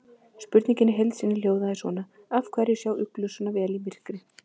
Spurningin í heild sinni hljóðaði svona: Af hverju sjá uglur sjá svona vel í myrkri?